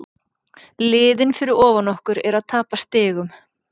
Liðin fyrir ofan okkur eru að tapa stigum.